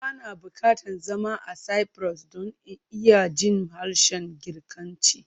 Ba na buƙatar zama a Cyprus don in iya jin harshen Girkanci